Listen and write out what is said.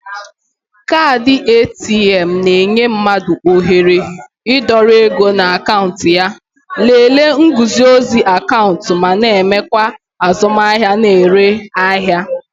Kaadị ATM na-enye mmadụ ohere ịdọrọ ego na akaụntụ ya, lelee nguzozi akaụntụ ma na-emekwa azụmahịa na-ere ahịa